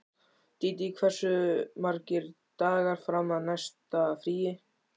Dídí, hversu margir dagar fram að næsta fríi?